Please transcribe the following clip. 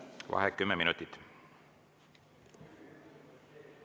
Vaheaeg 10 minutit.